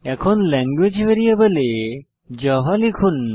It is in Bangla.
এখন ল্যাঙ্গুয়েজ ভ্যারিয়েবলে জাভা লিখুন